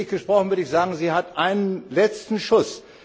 Bildlich gesprochen würde ich sagen, sie hat einen letzten Schuss.